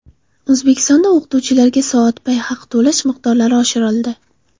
O‘zbekistonda o‘qituvchilarga soatbay haq to‘lash miqdorlari oshirildi.